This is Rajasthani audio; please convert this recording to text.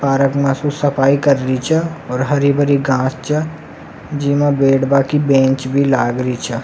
पार्क में सु सफाई कर री छ औ हरी भरी घास छ जेमे बैठवा की बैंच भी लाग री छ।